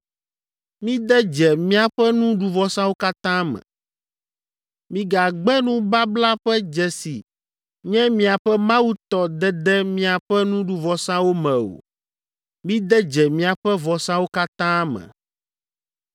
Mide dze miaƒe nuɖuvɔsawo katã me. Migagbe nubabla ƒe dze si nye miaƒe Mawu tɔ dede miaƒe nuɖuvɔsawo me o; mide dze miaƒe vɔsawo katã me.